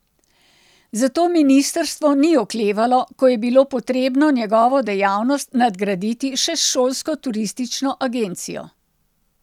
Zato ministrstvo ni oklevalo, ko je bilo potrebno njegovo dejavnost nadgraditi še s šolsko turistično agencijo.